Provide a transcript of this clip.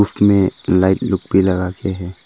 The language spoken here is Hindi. इसमें लाइट लोग भी लगाके हैं।